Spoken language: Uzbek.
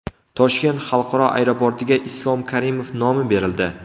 Toshkent xalqaro aeroportiga Islom Karimov nomi berildi .